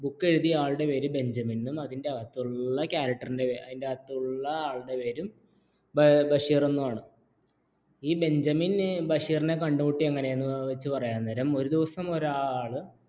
book എഴുതിയ ആളുടെ പേര് ബെഞ്ചമിനും അതിൻറെ അകത്തുള്ള full character ആളിന്റെ പേരും ബഷീർ എന്നാണ് ഈ ബെഞ്ചമിൻ ബഷീറിനെ കണ്ടുമുട്ടി എന്ന് വെച്ച് പറയുന്ന നേരം